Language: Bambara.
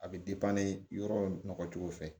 A bɛ yɔrɔ nɔgɔ cogo fɛ